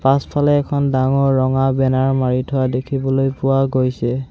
পাছফালে এখন ডাঙৰ ৰঙা বেনাৰ মাৰি থোৱা দেখিবলৈ পোৱা গৈছে।